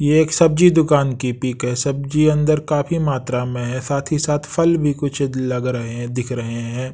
ये एक सब्जी दुकान की पिक है सब्जी अंदर काफी मात्रा में है साथ ही साथ फल भी कुछ लग रहे हैं दिख रहे हैं।